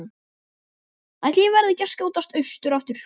Ætli ég verði ekki að skjótast austur aftur.